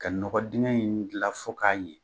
Ka nɔgɔ digɛn in gila fo k'a ɲɛ.